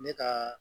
Ne ka